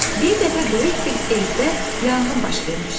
Bir dəfə böyük bir evdə yanğın baş vermişdi.